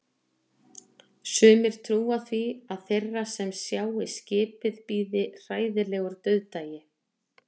Sumir trúa því að þeirra sem sjái skipið bíði hræðilegur dauðdagi.